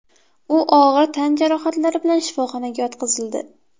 U og‘ir tan jarohatlari bilan shifoxonaga yotqizildi.